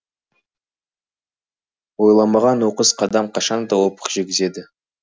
ойланбаған оқыс қадам қашан да опық жегізеді